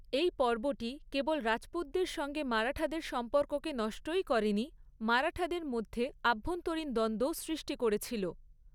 এই পর্বটি কেবল রাজপুতদের সঙ্গে মারাঠাদের সম্পর্ককে নষ্টই করেনি, মারাঠাদের মধ্যে আভ্যন্তরীণ দ্বন্দ্বও সৃষ্টি করেছিল।